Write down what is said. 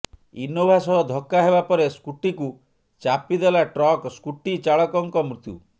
Innova ସହ ଧକ୍କା ହେବା ପରେ ସ୍କୁଟିକୁ ଚାପି ଦେଲା ଟ୍ରକ୍ ସ୍କୁଟି ଚାଳକଙ୍କ ମୃତ୍ୟୁ